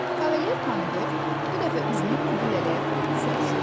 Kavalier Pomidor bu dəfə üzünü Qudu lələyə tutub soruşdu.